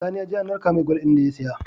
Sani yaje an narka mai gwal din da ya siya